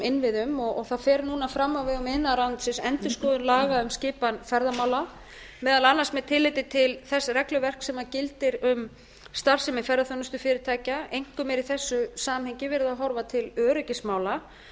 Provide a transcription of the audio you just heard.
innviðum það fer núna fram á vegum iðnaðarráðuneytisins endurskoðun laga um skipan ferðamála meðal annars með tilliti til þess regluverks sem gildir um starfsemi ferðaþjónustufyrirtækja einkum er í þessu samhengi verið að horfa til öryggismála en það er